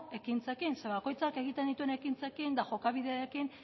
ekintzekin zeren eta bakoitzak egiten dituen ekintzekin eta jokabideekin